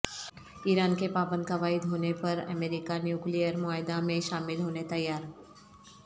ایران کے پابند قواعد ہو نے پرامریکہ نیوکلیئر معاہدہ میں شامل ہونے تیار